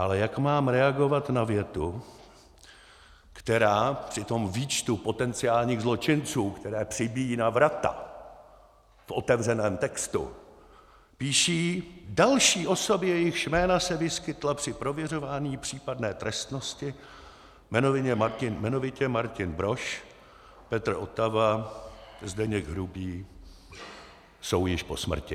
Ale jak mám reagovat na větu, která při tom výčtu potenciálních zločinců, které přibíjí na vrata v otevřeném textu, píší další osoby, jejichž jména se vyskytla při prověřování případné trestnosti, jmenovitě Martin Brož, Petr Otava, Zdeněk Hrubý jsou již po smrti.